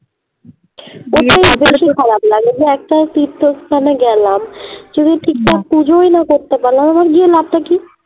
খারাপ লাগে যে একটা তীর্থস্থান এ গেলাম যদি পুজোই না করতে পারলাম আমার গিয়ে লাভ টা কি